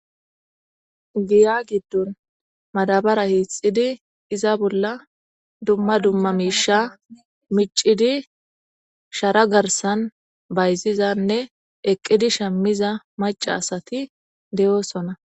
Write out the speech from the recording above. giya giddon madabara hiixidi iza bolla dumma dumma miisha micidi shara garsan bayzizanne eqqidi shammiza maca asati de7oosona